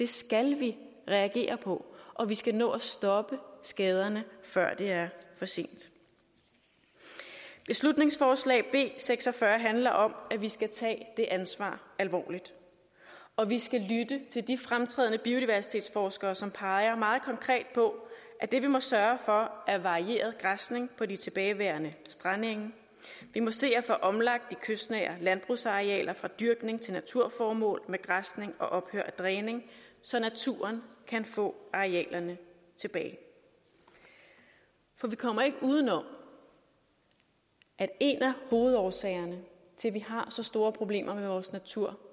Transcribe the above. skal vi reagere på og vi skal nå at stoppe skaderne før det er for sent beslutningsforslag b seks og fyrre handler om at vi skal tage det ansvar alvorligt og vi skal lytte til de fremtrædende biodiversitetsforskere som peger på at det vi må sørge for er varieret græsning på de tilbageværende strandenge vi må se at få omlagt de kystnære landbrugsarealer fra dyrkning til naturformål med græsning og ophør af dræning så naturen kan få arealerne tilbage vi kommer ikke udenom at en af hovedårsagerne til at vi har så store problemer med vores natur